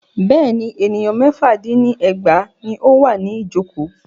Bẹ́ẹ̀ni, ènìyàn mẹ́fà dín ní ẹgbàá ní o wà ní ìjọ̀kọ́.